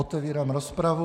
Otevírám rozpravu.